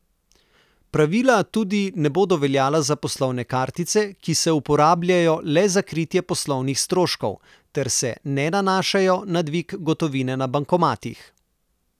Pravila tudi ne bodo veljala za poslovne kartice, ki se uporabljajo le za kritje poslovnih stroškov, ter se ne nanašajo na dvig gotovine na bankomatih.